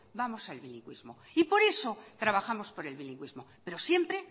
vamos al bilingüismo y por eso trabajamos por el bilingüismo pero siempre